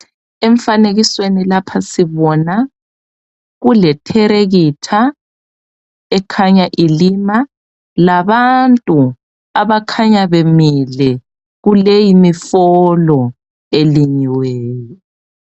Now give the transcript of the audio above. Emfanekisweni lapha sibona kuletelekitha ekhanya ilima, labantu abakhanya bemile kuleyi mifolo elinyiweyo.